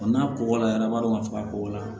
n'a kɔkɔla yɛrɛ an b'a dɔn k'a fɔ a ko la